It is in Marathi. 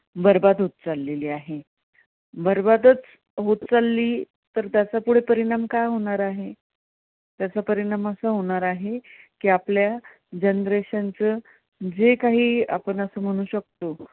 बरबाद होत चालली आहे, बरबादच होत चालली तर त्याचा पुढे परिणाम काय होणार आहे? त्याचा परिणाम असा होणार आहे की, आपल्या generation चं जे काही आपण असं म्हणू शकतो.